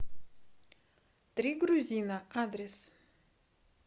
три грузина адрес